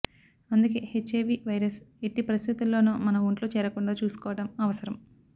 అందుకే HIV virus ఎట్టి పరిస్థితుల్లోనూ మన ఒంట్లో చేరకుండా చూసుకోవటం అవసరం